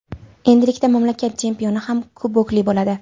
Endilikda mamlakat chempioni ham kubokli bo‘ladi.